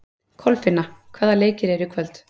Kolfinna, hvaða leikir eru í kvöld?